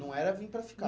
Não era vim para ficar.